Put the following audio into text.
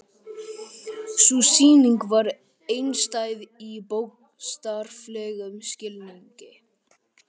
Sú sýning var einstæð í bókstaflegum skilningi.